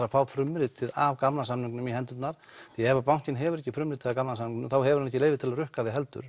að fá frumritið af gamla samningnum í hendurnar því ef bankinn hefur ekki frumritið af gamla samningnum þá hefur hann ekki leyfi til að rukka þig heldur